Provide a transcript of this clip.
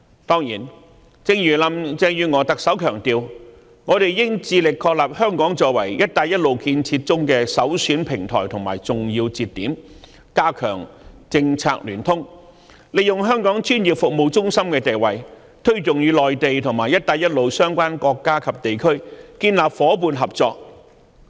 當然，正如特首林鄭月娥強調，我們應致力確立香港作為"一帶一路"建設中的首選平台和重要接點，加強政策聯通，利用香港專業服務中心的地位，推動與內地和"一帶一路"相關國家及地區建立夥伴合作。